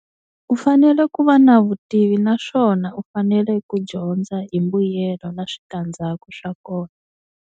U fanele ku va na vutivi naswona u fanele ku dyondza hi mbuyelo na switandzhaku swa kona.